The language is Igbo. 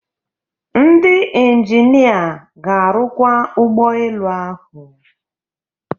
Ndị injinia ga-arụkwa ụgbọ elu ahụ